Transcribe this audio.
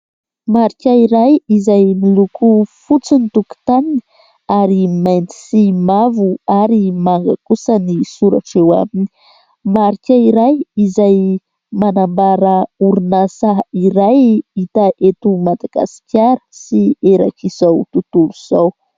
Marika iray izay miloko fotsy ny tokotaniny ary mainty sy mavo ary manga kosa ny soratra eo aminy. Marika iray izay manambara orinasa iray hita eto Madagasikara sy erak'izao tontolo izao.